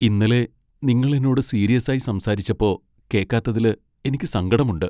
ഇന്നലെ നിങ്ങൾ എന്നോട് സീരിയസായി സംസാരിച്ചപ്പോ കേക്കാത്തതില് എനിക്ക് സങ്കടമുണ്ട്.